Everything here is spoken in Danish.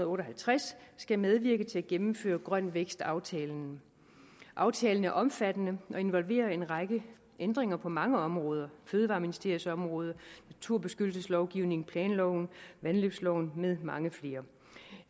og otte og halvtreds skal medvirke til at gennemføre grøn vækst aftalen aftalen er omfattende og involverer en række ændringer på mange områder fødevareministeriets område naturbeskyttelseslovgivningen planloven vandløbsloven med mange flere